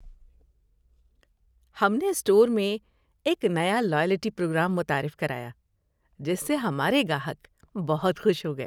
ہم نے اسٹور میں ایک نیا لائلٹی پروگرام متعارف کرایا جس سے ہمارے گاہک بہت خوش ہو گئے۔